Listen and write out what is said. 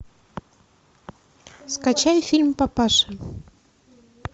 скачай фильм папаши